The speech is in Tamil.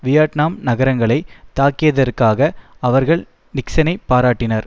வியட்நாம் நகரங்களை தாக்கியதற்காக அவர்கள் நிக்சனை பாராட்டினர்